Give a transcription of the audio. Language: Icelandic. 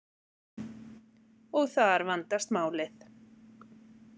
Og þar vandast málið.